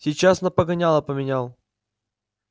сейчас на погоняло поменял